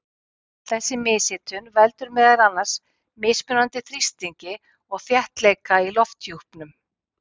en þessi mishitun veldur meðal annars mismunandi þrýstingi og þéttleika í lofthjúpnum